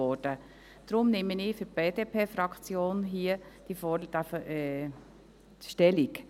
Deshalb nehme ich für die BDP-Fraktion hier Stellung.